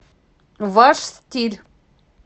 ваш стиль